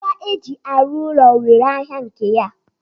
Ngwa eji arụ ụlọ nwere ahịa nke ya.